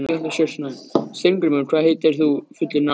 Steingrímur, hvað heitir þú fullu nafni?